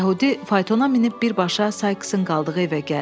Yəhudi faytona minib birbaşa Sayksın qaldığı evə gəldi.